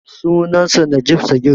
Sunansa Najib Sagir.